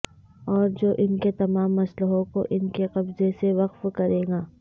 اور جو ان کے تمام مسلحوں کو ان کے قبضے سے وقف کرے گا